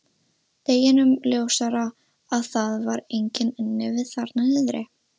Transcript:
Deginum ljósara að það var enginn inni við þarna niðri.